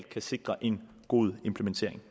kan sikre en god implementering